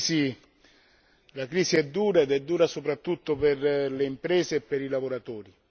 La crisi è dura ed è dura soprattutto per le imprese e per i lavoratori.